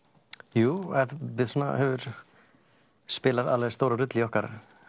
jú hefur spilað alveg stóra rullu í okkar